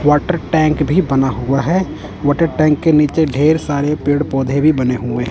water tank भी बना हुआ है वॉटर टैंक के नीचे ढेर सारे पेड़ पौधे भी बने हुए--